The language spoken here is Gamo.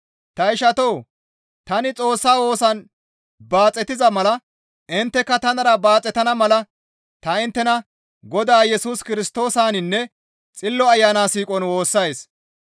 Ta ishatoo! Tani Xoossa woosan baaxetiza mala intteka tanara baaxetana mala ta inttena Godaa Yesus Kirstoosaninne Xillo Ayana siiqon woossays.